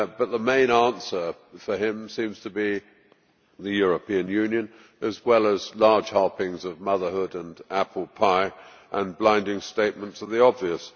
The main answer for him seems to be the European Union, as well as large helpings of motherhood, apple pie and blinding statements of the obvious.